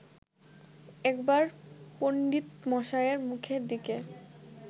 একবার পণ্ডিতমশায়ের মুখের দিকে